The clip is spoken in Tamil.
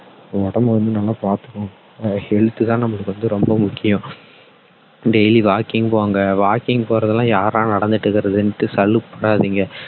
உடம்ப வந்து நல்லா பார்த்துகோங்க health தான் நம்மளுக்கு ரொம்ப ரொம்ப முக்கியம் daily walking போங்க walking போறதுலாம் யாருடா நடந்துட்டு இருக்குறதுன்னு சலுப்பு படாதீங்க